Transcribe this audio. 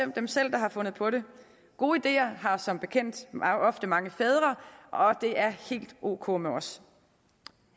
den selv der havde fundet på det gode ideer har som bekendt ofte mange fædre og det er helt ok med os